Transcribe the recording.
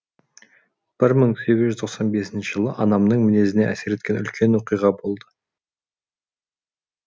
бір мың сегіз жүз тоқсан бесінші жылы анамның мінезіне әсер еткен үлкен оқиға болды